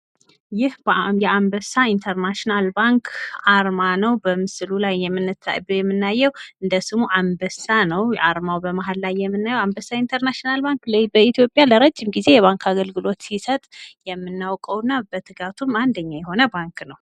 ይህ የአንበሳ ኢንተርናሽናል ባንክ አርማ ነዉ። በምስሉ ላይ የምናየዉ እንደ ስሙ አንበሳ ነዉ። አርማዉ በመሀል ላይ የምናየዉ አንበሳ ኢንተርናሽናል ባንክ በኢትዮጵያ ለረዥም ጊዜ አገልግሎት ሲሰጥ የምናዉቀዉ እና በትጋቱም አንደኛ የሆነ ባንክ ነዉ።